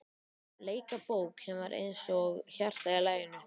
Bleika bók sem var eins og hjarta í laginu?